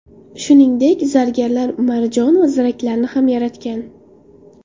Shuningdek, zargarlar marjon va ziraklarni ham yaratgan.